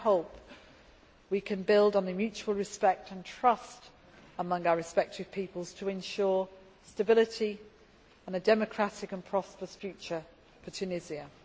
I hope we can build on the mutual respect and trust among our respective peoples to ensure stability and a democratic and prosperous future for Tunisia.